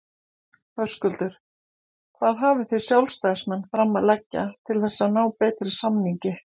Höskuldur: Hvað hafið þið sjálfstæðismenn fram að leggja til þess að ná betri samningi?